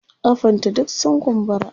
kafan ta duk sun kumbura